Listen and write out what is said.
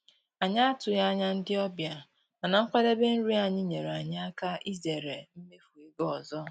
Anyị atụghị anya ndị ọbịa, mana nkwadebe nri anyị nyeere anyị aka izere mmefu ego ọzọ.